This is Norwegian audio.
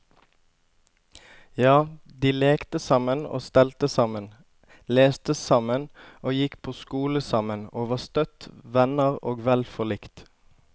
Ja, de lekte sammen og stelte sammen, leste sammen og gikk på skole sammen, og var støtt venner og vel forlikt.